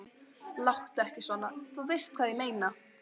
Láttu ekki svona. þú veist hvað ég meina.